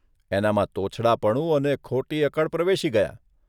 એનામાં તોછડાપણું અને ખોટી અકડ પ્રવેશી ગયાં.